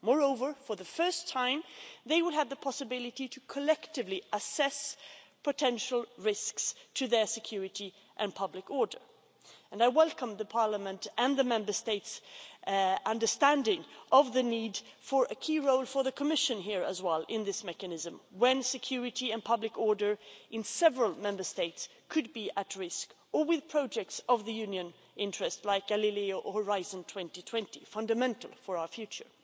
Moreover, for the first time, they would have the possibility to collectively assess potential risks to their security and public order. I welcome Parliament's and the Member States' understanding of the need for a key role for the Commission here as well in this mechanism, when security and public order in several Member States could be at risk or with projects of the Union's interest, like Galileo or Horizon 2020, fundamental for our future.